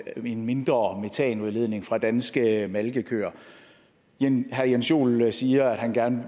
en mindre metanudledning fra danske malkekøer herre jens joel siger at han gerne